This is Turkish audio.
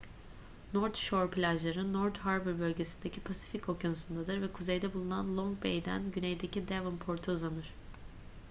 north shore plajları north harbour bölgesindeki pasifik okyanusu'ndadır ve kuzeyde bulunan long bay'den güneydeki devonport'a uzanır